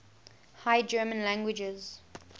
high german languages